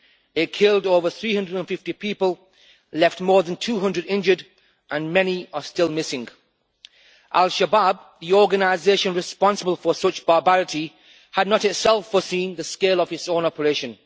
It killed over 350 people, left more than 200 injured, and many are still missing. Al Shabaab, the organisation responsible for such barbarity, had not itself foreseen the scale of its own operation.